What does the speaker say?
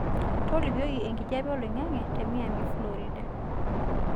tolikioki enkijape olaing'ang'e te miami florida